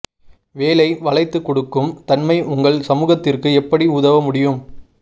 வேலை வளைந்து கொடுக்கும் தன்மை உங்கள் சமூகத்திற்கு எப்படி உதவ முடியும்